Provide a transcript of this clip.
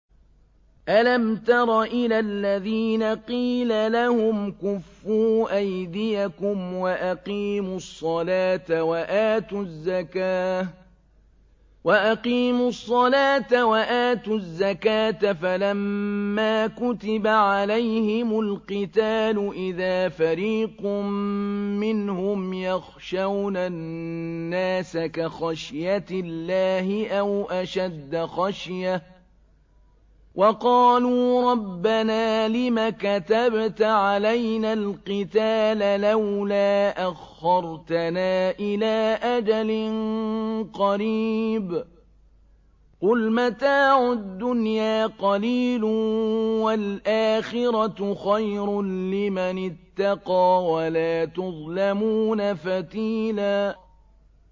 أَلَمْ تَرَ إِلَى الَّذِينَ قِيلَ لَهُمْ كُفُّوا أَيْدِيَكُمْ وَأَقِيمُوا الصَّلَاةَ وَآتُوا الزَّكَاةَ فَلَمَّا كُتِبَ عَلَيْهِمُ الْقِتَالُ إِذَا فَرِيقٌ مِّنْهُمْ يَخْشَوْنَ النَّاسَ كَخَشْيَةِ اللَّهِ أَوْ أَشَدَّ خَشْيَةً ۚ وَقَالُوا رَبَّنَا لِمَ كَتَبْتَ عَلَيْنَا الْقِتَالَ لَوْلَا أَخَّرْتَنَا إِلَىٰ أَجَلٍ قَرِيبٍ ۗ قُلْ مَتَاعُ الدُّنْيَا قَلِيلٌ وَالْآخِرَةُ خَيْرٌ لِّمَنِ اتَّقَىٰ وَلَا تُظْلَمُونَ فَتِيلًا